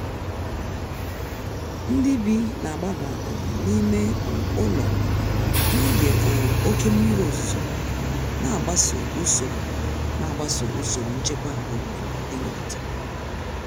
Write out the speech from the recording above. Ndị bi na-agbaba um n'ime um ụlọ n'oge um oke mmiri ozuzo, na-agbaso usoro na-agbaso usoro nchekwa obodo emelitere.